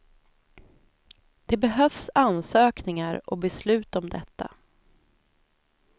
Det behövs ansökningar och beslut om detta.